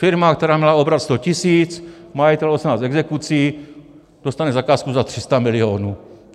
Firma, která měla obrat 100 tisíc, majitel 18 exekucí, dostane zakázku za 300 milionů.